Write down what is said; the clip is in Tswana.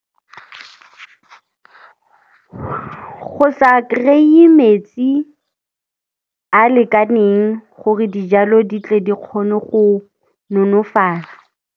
Go sa kry-e metsi a lekaneng gore dijalo di tle di kgone go nonofala.